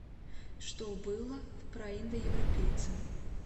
что было в праиндоевропейцы